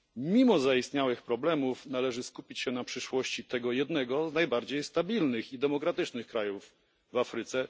Mimo zaistniałych problemów należy skupić się na przyszłości tego jednego z najbardziej stabilnych i demokratycznych krajów w Afryce.